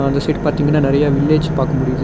இந்த சைடு பாத்தீங்கனா நெறைய வில்லேஜ் பாக்க முடியிது.